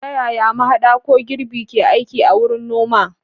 Ta yaya mahaɗa ko girbi ke aiki a wurin noma?